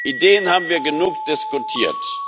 Ideen haben wir genug diskutiert.